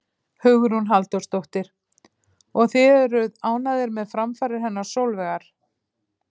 Hugrún Halldórsdóttir: Og þið eruð ánægðir með framfarir hennar Sólveigar?